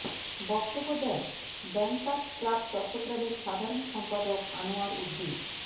বক্তব্য দেন bankers club চট্টগ্রামের সাধারণ সম্পাদক আনোয়ার উদ্দীন